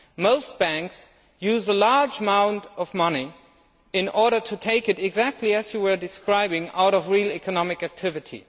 Most banks use a large amount of money in order to take it exactly as you were describing out of real economic activity.